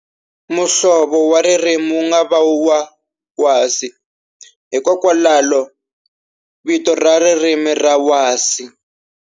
Muhlovo wa ririmi wu nga va wa wasi, hikokwalalo vito ra ririmi ra wasi.